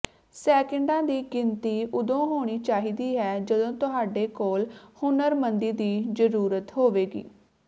ਸੈਕਿੰਡਾਂ ਦੀ ਗਿਣਤੀ ਉਦੋਂ ਹੋਣੀ ਚਾਹੀਦੀ ਹੈ ਜਦੋਂ ਤੁਹਾਡੇ ਕੋਲ ਹੁਨਰਮੰਦੀ ਦੀ ਜਰੂਰਤ ਹੋਵੇਗੀ